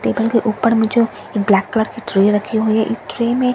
table के ऊपर मुझे एक ब्लैक कलर की ट्रे रखी हुई हैं इस ट्रे में बहु --